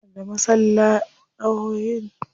Yana da maslahohin idan kuka zanta.